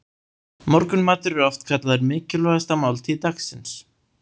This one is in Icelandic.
Morgunmatur er oft kallaður mikilvægasta máltíð dagsins.